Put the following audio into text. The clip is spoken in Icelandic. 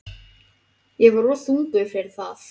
Ég var of þungur fyrir það.